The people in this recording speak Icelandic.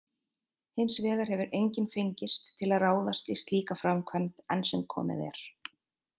Hins vegar hefur enginn fengist til að ráðast í slíka framkvæmd enn sem komið er.